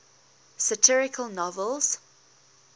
satirical novels